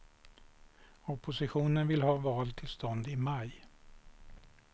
Oppositionen vill ha val till stånd i maj.